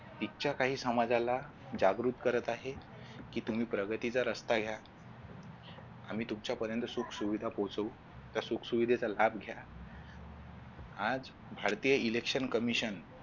इथच्या काही समाजाला जागृत करत आहे की तुम्ही प्रगतीचा रस्ता घ्या आम्ही तुमच्यापर्यंत सुखसुविधा पोचवू त्या सुख सुविधेचा लाभ घ्या आज भारतीय election commision